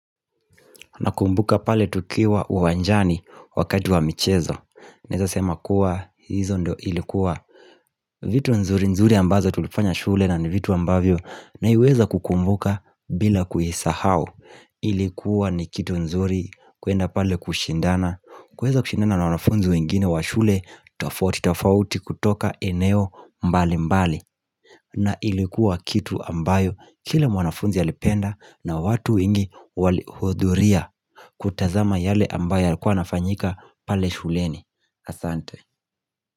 Na kumbuka pale tukiwa uwanjani wakati wa michezo naeza sema kuwa hizo ndio ilikuwa vitu nzuri nzuri ambazo tulifanya shule na ni vitu ambavyo naiweza kukumbuka bila kuisahau ilikuwa ni kitu nzuri kwenda pale kushindana kuweza kushindana na wanafunzi wengine wa shule tafauti tofauti kutoka eneo mbali mbali na ilikuwa kitu ambayo kila mwanafunzi alipenda na watu wengi walihudhuria kutazama yale ambayo yalikuwa yanafanyika pale shuleni asante.